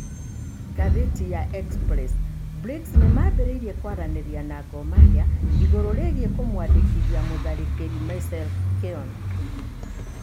(Ngathĩti ya Express) Bricks nĩ mambĩrĩirie kwaranĩria na Gor Mahia igũrũ rĩgiĩ kumuandĩkithia Mũtharĩkĩri Maisel Keon